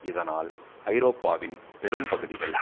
இதனால் ஐரோப்பாவின் பெரும் பகுதிகள்